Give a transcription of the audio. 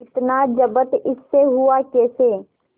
इतना जब्त इससे हुआ कैसे